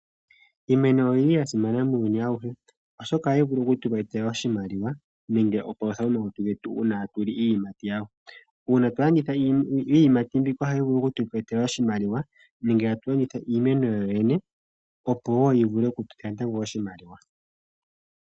Iimeno oyasimana muuyuni awuhe oshoka ohayi vulu okutu etela oshimaliwa nenge oonkondo momalutu getu uuna tatuli iiyimati. Uuna twalanditha iiyimati mbika ohayi vulu okutu etela oshimaliwa nenge tatu landitha iimeno yoyene opo wo yi vulu okutupa natango oshimaliwa.